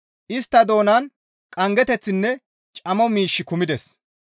Istta doonan qanggeththinne camo miishshi kumides.